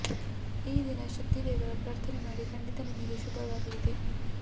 ಈ ದಿನ ಶಕ್ತಿ ದೇವರ ಪ್ರಾರ್ಥನೆ ಮಾಡಿ ಖಂಡಿತ ನಿಮಗೆ ಶುಭವಾಗಲಿದೆ